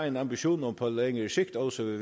en ambition om på længere sigt også at